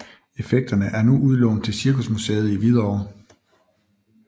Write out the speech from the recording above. Effekterne er nu udlånt til Cirkusmuseet i Hvidovre